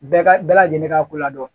Bɛɛ ka bɛɛ lajɛlen ka ko ladɔn